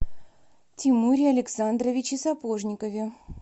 тимуре александровиче сапожникове